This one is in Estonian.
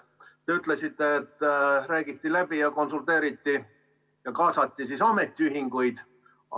Te ütlesite, et räägiti läbi, konsulteeriti ja kaasati siis ametiühinguid.